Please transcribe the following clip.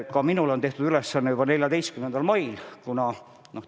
Ka minule on juba 14. mail antud uus ülesanne.